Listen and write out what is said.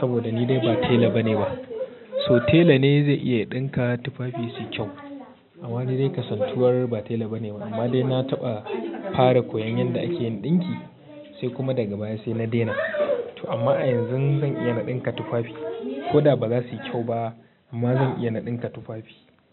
saboda ni dai ba tela bane ba so tela ne zai iya ɗinka tufafi su yi kyau amma ni dai kasantuwar ba tela bane amma dai na taɓa fara koyan yadda ake yin ɗinki sai kuma daga baya sai na daina amma a yanzu zan iya na ɗinka tufafi ko da ba za su yi kyau ba amma zan iya na ɗinka tufafi.